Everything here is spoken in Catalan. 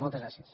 moltes gràcies